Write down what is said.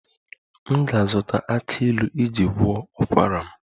M ga-azụta aki ilu iji gwọọ ụkwara m